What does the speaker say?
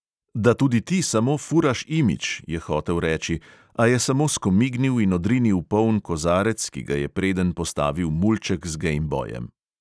Da tudi ti samo furaš imidž, je hotel reči, a je samo skomignil in odrinil poln kozarec, ki ga je predenj postavil mulček z gejmbojem.